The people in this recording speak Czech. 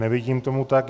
Není tomu tak.